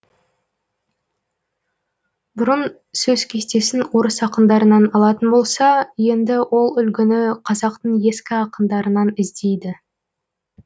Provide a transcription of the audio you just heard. бұрын сөз кестесін орыс ақындарынан алатын болса енді ол үлгіні қазақтың ескі ақындарынан іздейді